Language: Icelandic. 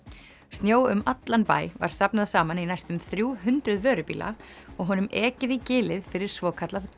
snjó um allan bæ var safnað saman í næstum þrjú hundruð vörubíla og honum ekið í gilið fyrir svokallað